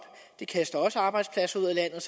det kaster også arbejdspladser ud af landet